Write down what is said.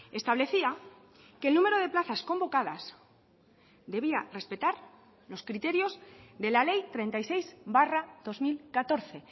establecía que el número de plazas convocadas debía respetar los criterios de la ley treinta y seis barra dos mil catorce